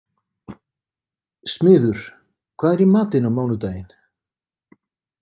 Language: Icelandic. Smiður, hvað er í matinn á mánudaginn?